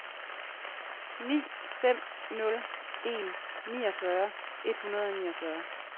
ni fem nul en niogfyrre et hundrede og niogfyrre